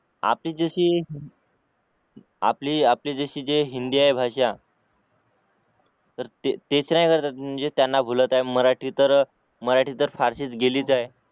आपली जशी जे हिंदी आहे भाषा तर तेच नाही करता येत म्हणजे त्यांना भुलत आहे मराठी तर फारशी गेलीस आहे